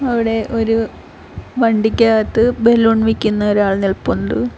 അവിടെ ഒര് വണ്ടിക്കകത്ത് ബലൂൺ വിക്കുന്ന ഒരാൾ നിൽപ്പുണ്ട്.